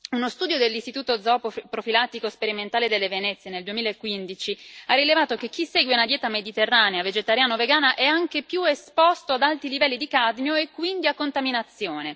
Uno studio dell'Istituto zooprofilattico sperimentale delle Venezie, nel 2015, ha rilevato che chi segue una dieta mediterranea vegetariana o vegana è anche più esposto ad alti livelli di cadmio e quindi a contaminazione.